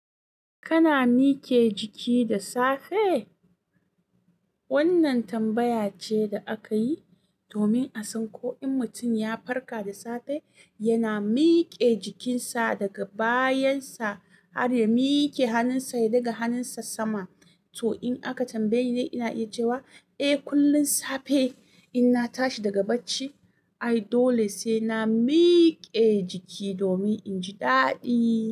Kana mike jiki da safe? Wannan tambaya ce da aka yi domin a san ko in mutum ya farka da safe, yana miƙe jikinsa daga bayan sa har ya miƙe hannunsa ɗaga hannunsa sama. To in aka tambaye ni, ina iya cewa, "Eh, kullum safe inna tashi daga bacci, ai dole sai na miƙe jiki domin in ji daɗi."